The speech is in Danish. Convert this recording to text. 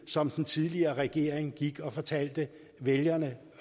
som den tidligere regering gik og fortalte vælgerne